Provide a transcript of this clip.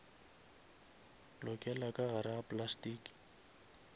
lokela ka gare ga plastiki